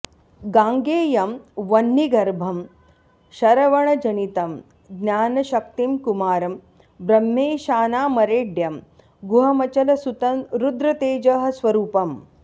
गाङ्गेयं वह्निगर्भं शरवणजनितं ज्ञानशक्तिं कुमारं ब्रह्मेशानामरेड्यं गुहमचलसुतं रुद्रतेजः स्वरूपम्